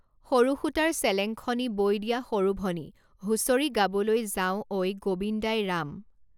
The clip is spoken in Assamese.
সৰু সূতাৰ চেলেঙখনি বৈ দিয়া সৰুভনী হুঁচৰি গাবলৈ যাওঁ ঐ গোবিন্দাই ৰাম